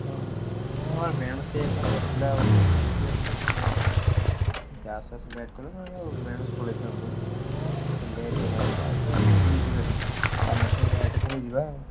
ହଁ ହଁ ବେଳୁସୁ ଯାଇଥାନ୍ତେ ପିଲା ନଥିଲେ ପିଲା ସାଙ୍ଗଗୁଡା ଆଉ ସିଏ ଆସୁ ଆସୁ late କଲେ ଆଉ ନହେଲେ ବେଳୁସୁ ପଳେଇଥାନ୍ତୁ। ଏଥର late ହେଇ ଗଲାଣି ନା ଏବେ picnic ଯିବେ ନା ଆମେ ଏଥର late ଏଥର ଯିବା ଆଉ।